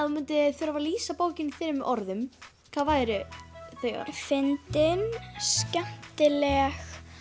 þú myndir þurfa að lýsa bókinni fyrir mér með orðum hver væru þau fyndin skemmtileg